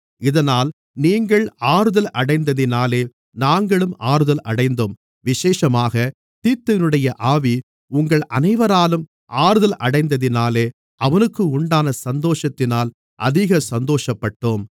இதனால் நீங்கள் ஆறுதலடைந்ததினாலே நாங்களும் ஆறுதலடைந்தோம் விசேஷமாகத் தீத்துவினுடைய ஆவி உங்கள் அனைவராலும் ஆறுதல் அடைந்ததினாலே அவனுக்கு உண்டான சந்தோஷத்தினால் அதிக சந்தோஷப்பட்டோம்